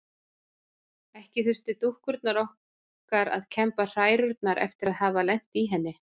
Ekki þurftu dúkkurnar okkar að kemba hærurnar eftir að hafa lent í henni.